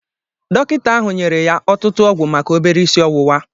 Dọkịta ahụ nyere ya ọtụtụ ọgwụ maka obere isi ọwụwa a